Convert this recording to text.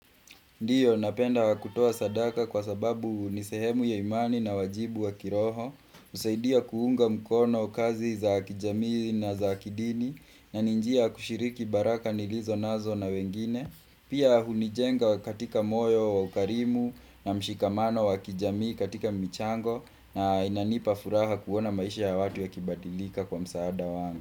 Ndiyo, napenda kutoa sadaka kwasababu ni sehemu ya imani na wajibu wa kiroho, husaidia kuunga mkono kazi za kijamii na zakidini, na ni njia ya kushiriki baraka nilizonazo na wengine, pia hunijenga katika moyo wa ukarimu na mshikamano wa kijamii katika michango, na inanipa furaha kuona maisha ya watu yakibadilika kwa msaada wangu.